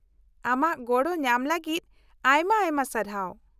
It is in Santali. ᱟᱢᱟᱜ ᱜᱚᱲᱚ ᱧᱟᱢ ᱞᱟᱹᱜᱤᱫ ᱟᱭᱢᱟ ᱟᱭᱢᱟ ᱥᱟᱨᱦᱟᱣ ᱾